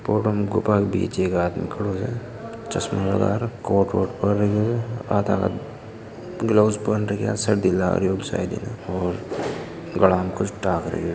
फोटो मे गुफा बिच एक आदमी खड़ो है चश्मा लगा राखो है गल्वस पहन रखा है सर्दी लाग री होळी सायद इन्हे और गला में कुछ डाल राखो --